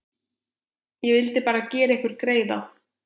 Ég vildi bara gera ykkur greiða.